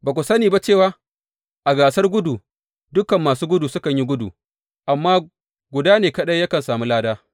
Ba ku sani ba cewa a gasar gudu, dukan masu gudu sukan yi gudu, amma guda ne kaɗai yakan sami lada?